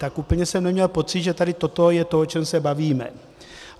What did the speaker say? Tak úplně jsem neměl pocit, že tady toto je to, o čem se bavíme.